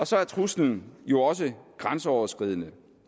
så er truslen jo også grænseoverskridende